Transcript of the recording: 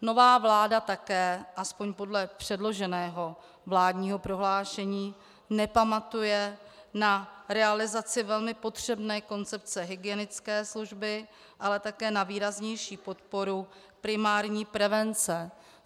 Nová vláda také, aspoň podle předloženého vládního prohlášení, nepamatuje na realizaci velmi potřebné koncepce hygienické služby, ale také na výraznější podporu primární prevence.